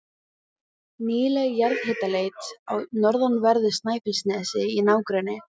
Nýleg jarðhitaleit á norðanverðu Snæfellsnesi í nágrenni